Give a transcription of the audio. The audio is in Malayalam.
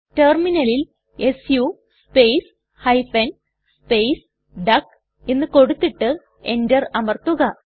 ടെർമിനലിൽ സു സ്പേസ് ഹൈഫൻ സ്പേസ് ഡക്ക് എന്ന് കൊടുത്തിട്ട് Enter അമർത്തുക